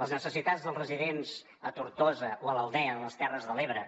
les necessitats dels residents a tortosa o a l’aldea a les terres de l’ebre